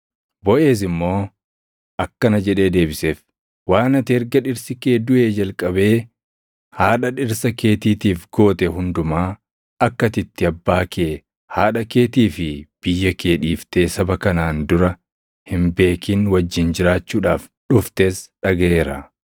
Boʼeez immoo akkana jedhee deebiseef; “Waan ati erga dhirsi kee duʼee jalqabee haadha dhirsa keetiitiif goote hundumaa, akka ati itti abbaa kee, haadha keetii fi biyya kee dhiiftee saba kanaan dura hin beekin wajjin jiraachuudhaaf dhuftes dhagaʼeera.